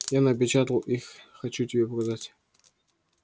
я напечатал их хочу тебе показать